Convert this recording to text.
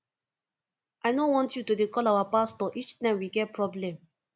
i no want you to dey call our pastor each time we get problem